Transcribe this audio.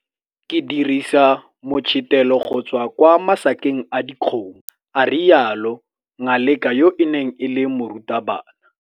Ke dirisa motshetelo go tswa kwa masakeng a dikgomo. a rialo. Ngaleka yo e neng e le morutabana.